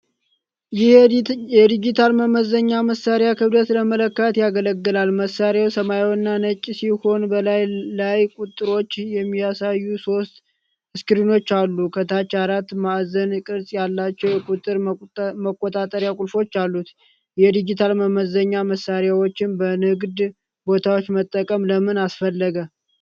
ይህ ዲጂታል መመዘኛ መሣሪያ ክብደት ለመለካት ያገለግላል። መሣሪያው ሰማያዊና ነጭ ሲሆን፣ በላዩ ላይ ቁጥሮችን የሚያሳዩ ሶስት ስክሪኖች አሉ። ከታች አራት ማዕዘን ቅርፅ ያላቸው የቁጥር መቆጣጠሪያ ቁልፎች አሉት። የዲጂታል መመዘኛ መሣሪያዎችን በንግድ ቦታዎች መጠቀም ለምን አስፈለገ?